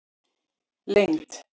lengd